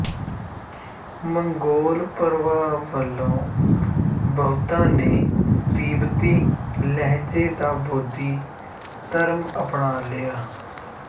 Mongol ਪ੍ਰਭਾਵ ਵਲੋਂ ਬਹੁਤਾਂ ਨੇ ਤੀੱਬਤੀ ਲਹਿਜੇ ਦਾ ਬੋਧੀ ਧਰਮ ਅਪਣਾ ਲਿਆ